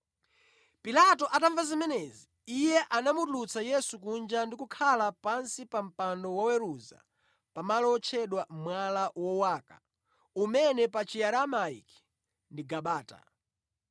Pilato atamva zimenezi, iye anamutulutsa Yesu kunja ndi kukhala pansi pa mpando wa woweruza pamalo otchedwa Mwala Wowaka (umene pa Chiaramaiki ndi Gabata).